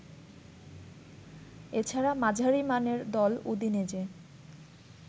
এছাড়া মাঝারিমানের দল উদিনেজে